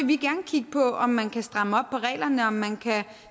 vi gerne kigge på om man kan stramme op på reglerne om man kan